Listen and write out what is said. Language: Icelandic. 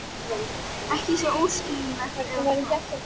Ekki svo óskiljanlegt, eða hvað?